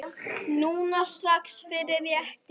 Núna strax- fyrir réttir.